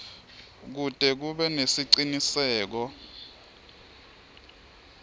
kute kube nesiciniseko